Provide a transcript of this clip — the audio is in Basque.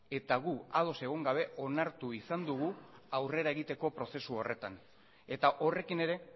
eta gu ados egon gabe onartu izan dugu aurrera egiteko prozesu horretan eta horrekin ere